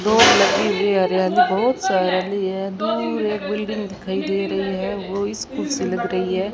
दो लकड़ी ले आ रहे है दूर एक बिल्डिंग दिखाई दे रही है वो स्कूल सी लग रही है।